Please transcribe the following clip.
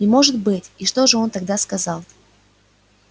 не может быть и что же он тогда сказал